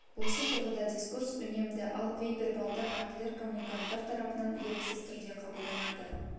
осы тұрғыда дискурс үнемді ал бейвербалды актілер коммуниканттар тарапынан еріксіз түрде қабылданады